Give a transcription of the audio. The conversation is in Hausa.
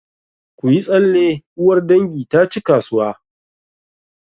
Ku yi tsalle! uwar dangi ta ci kasuwa